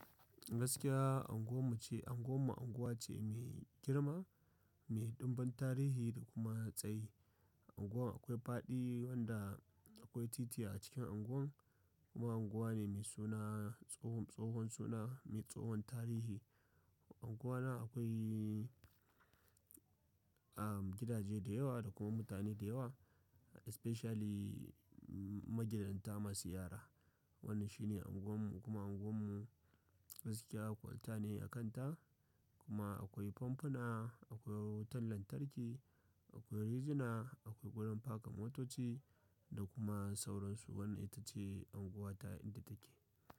Gaskiya unguwarmu ce, unguwar mu unguwa ce mai girma, mai ɗumbin tarihi da kuma tsayi. Unguwar akwai fadi wanda akwai titi a cikin unguwar. Kuma unguwa ne mai suna, tsohon suna mai tsohon tarihi. Unguwa na akwai, gidaje da yawa da kuma mutane da yawa especially magidanta masu yara. Wnn shine unguwarmu kuma unguwar mu gaskiya kwalta ne a kanta kuma akwai famfuna, akwai wutar lantarki akwai razina akwai wajan faka motoci da kuma sauran su wannan itace unguwata a inda take.